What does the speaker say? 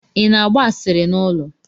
Ị na-agba asịrị n'ụlọ?